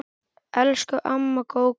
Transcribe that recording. Elsku amma Gógó.